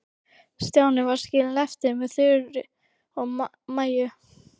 Stjáni var skilinn eftir með Þuru og Maju.